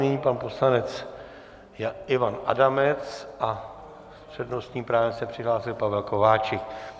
Nyní pan poslanec Ivan Adamec a s přednostním právem se přihlásil Pavel Kováčik.